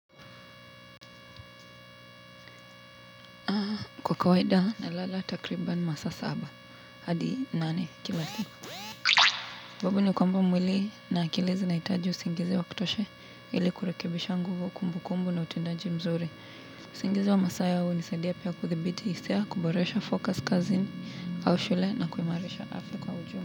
Kwa kawaida na lala takriban saa saba hadi nane kila siku sababu ni kwamba mwili na akili zinahitaji usingizi wa kutosha ili kurekebisha nguvu kumbukumbu na utendaji mzuri usingizi wa masaa hunisaidia pia kuthibiti hisia kuboresha focus kazini au shule na kuimarisha afya kwa ujumla.